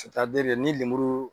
ni lemuru